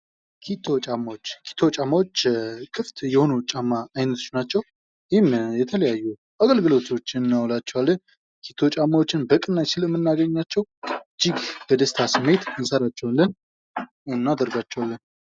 ኪቶ ጫማዎች ፡-ኪቶ ጫማዎች ክፍት የሆኑ ጫማዎች አይነቶች ናቸው ይህም የተለያዩ አገልግሎቶችን እናውላቸዋለን ኪቶ ጫማዎችን በቅናሽ ስለምናገኛቸው እጅግ በደስታ ስሜት እንሰራቸዋለን እናደርጋቸዋለን።